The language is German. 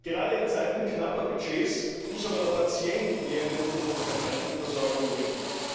Gerade in Zeiten knapper Budgets muss aber der Patient mehr in den Mittelpunkt der Krankenversorgung rücken.